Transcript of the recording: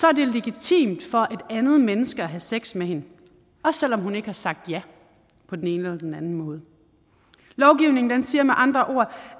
er det legitimt for et andet menneske at have sex med hende også selv om hun ikke har sagt ja på den ene eller den anden måde lovgivningen siger med andre ord